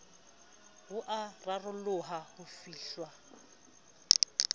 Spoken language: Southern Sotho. bo a raroloha ho fihlwa